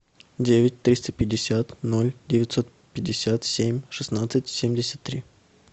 девять триста пятьдесят ноль девятьсот пятьдесят семь шестнадцать семьдесят три